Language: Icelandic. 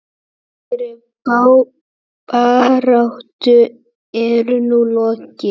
Langri baráttu er nú lokið.